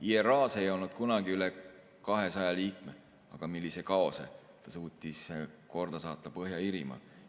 IRA‑s ei olnud kunagi üle 200 liikme, aga millise kaose ta suutis korda saata Põhja-Iirimaal.